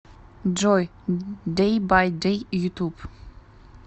джой дэй бай дэй ютуб